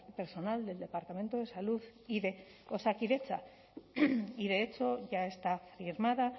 personal del departamento de salud y de osakidetza y de hecho ya está firmada